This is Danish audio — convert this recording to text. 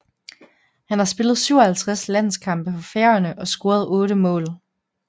Han har spillet 57 landskampe for Færøerne og scoret 8 mål